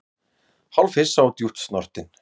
Hálfhissa og djúpt snortinn